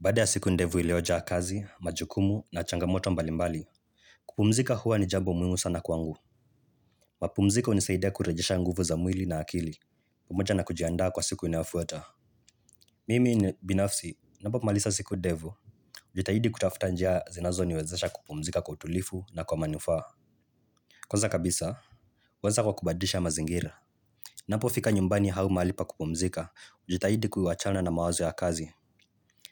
Baada ya siku ndefu iliojaa kazi, majukumu na changamoto mbalimbali. Kupumzika huwa ni jambo muhimu sana kwangu. Mapumziko hunisaidea kurejesha nguvu za mwili na akili. Pamoja na kujiandaa kwa siku inayofuata Mimi ni binafsi, nafaa kumaliza siku ndefu hujitahidi kutafuta njia zinazoniwezesha kupumzika kwa utulivu na kwa manufaa. Kwanza kabisa, huanza kwa kubadilisha mazingira. Napofika nyumbani au mahali pa kupumzika hujitahidi kuachana na mawazo ya kazi.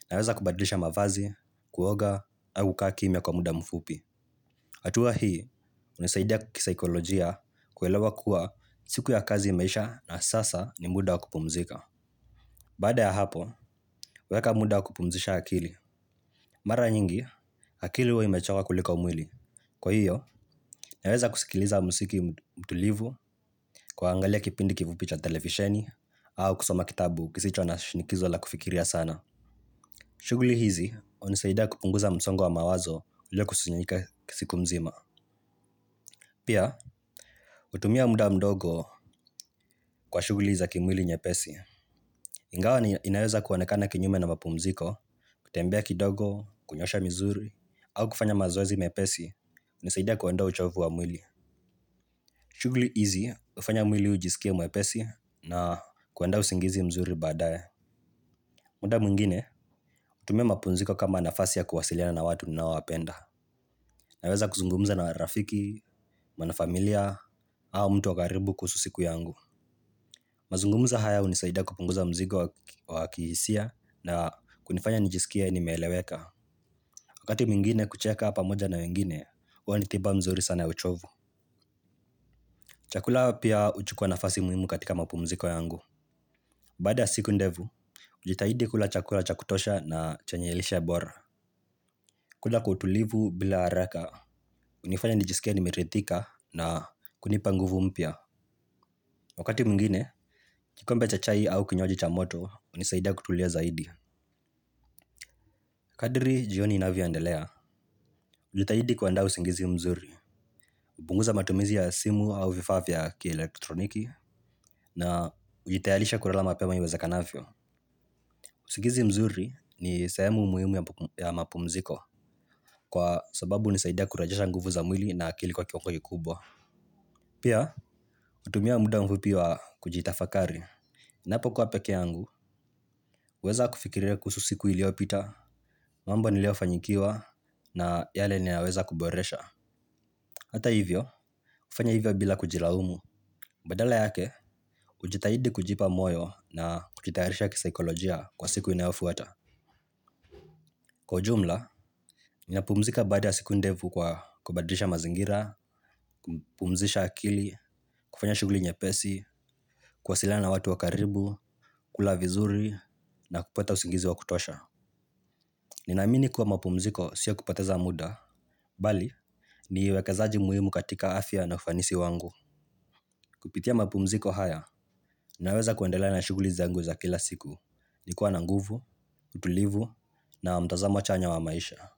Naweza kubadlisha mavazi, kuoga, au kukaa kimya kwa muda mfupi. Hatua hii, hunisaidia kisaikolojia kuelewa kuwa siku ya kazi imeisha na sasa ni muda wa kupumzika baada ya hapo huweka muda wa kupumzisha akili mara nyingi akili huwa imechoka kuliko mwili kwa hiyo naeza kusikiliza muziki mtulivu, kuangalia kipindi kifupi cha televisheni au kusoma kitabu kisicho na shinikizo la kufikiria sana. Shughuli hizi hunisaidia kupunguza msongo wa mawazo uliokusanyika kisiku mzima. Pia, hutumia muda mdogo kwa shughuli za kimwili nyepesi. Ingawa inaweza kuonekana kinyume na mapumziko, kutembea kidogo, kunyosha misuli au kufanya mazoazi mepesi, hunisaida kuondoa uchovu wa mwili. Shughuli hizi hufanya mwili ujisikie mwepesi na kuandaa usingizi mzuri baadae. Muda mwingine, hutumia mapumziko kama nafasi ya kuwasiliana na watu ninaowapenda. Naweza kuzungumza na marafiki, na familia, au mtu wa karibu kuhusu siku yangu. Mazungumzo haya hunisaida kupunguza mzigo wa kihisia na kunifanya nijisikie nimeeleweka. Wakati mwingine kucheka pamoja na wengine, huwa ni tiba mzuri sana ya uchovu. Chakula pia huchukua nafasi muhimu katika mapumziko yangu. Baada ya siku ndefu, hujitahidi kula chakula cha kutosha na chenye lishe bora. Kula kwa utulivu bila haraka hunifanya nijisikie nimeridhika na kunipa nguvu mpya. Wakati mwingine, kikombe cha chai au kinywaji cha moto, hunisaidia kutulia zaidi. Kadri, jioni inavyoendelea. Hujitahidi kuandaa usingizi mzuri, hupunguza matumizi ya simu au vifaa vya kielektroniki, na hujitayarisha kulala mapema iwezekanavyo. Usingizi mzuri ni sehemu muhimu ya mapumziko, kwa sababu hunisaidia kurejesha nguvu za mwili na akili kwa kiwango kikubwa. Pia, hutumia muda mfupi wa kujitafakari. Napokuwa pekee yangu, huweza kufikiria kuhusu siku iliyopita, mambo niliyofanyikiwa na yale ninaweza kuboresha. Hata hivyo kufanya hivyo bila kujilaumu badala yake, hujitahidi kujipa moyo na kujitayarisha kisaikolojia kwa siku inayofuata. Kwa jumla, ninapumzika baada ya siku ndefu kwa kubadilisha mazingira, kupumzisha akili, kufanya shughuli nyepesi, kuwasiliana na watu wa karibu, kula vizuri na kupata usingizi wa kutosha. Ninaamini kuwa mapumziko si ya kupoteza muda, bali ni uwekezaji muhimu katika afya na ufanisi wangu. Kupitia mapumziko haya, ninaweza kuendela na shughuli zangu za kila siku. Nikiwa na nguvu, utulivu na mtazamo chanya wa maisha.